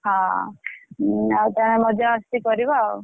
ହଁ ଆଉ ତମେ ମଜାମସ୍ତି କରିବ ଆଉ।